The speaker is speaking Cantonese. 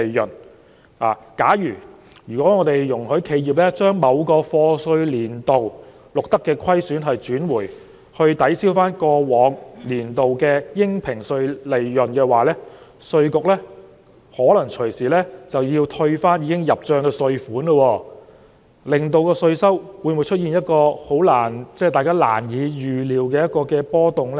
因此，假如我們容許企業把某個課稅年度錄得的虧損結轉，以抵銷過往年度的應評稅利潤，稅務局可能隨時需要退回已經入帳的稅款，這樣會否令稅收出現一個大家難以預料的波動呢？